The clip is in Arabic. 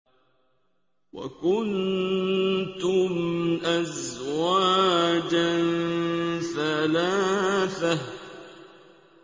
وَكُنتُمْ أَزْوَاجًا ثَلَاثَةً